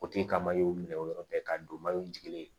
O tigi ka minɛ o yɔrɔ bɛɛ ka don jigini ye